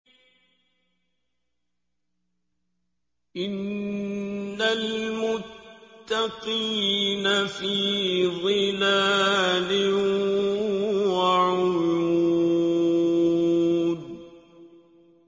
إِنَّ الْمُتَّقِينَ فِي ظِلَالٍ وَعُيُونٍ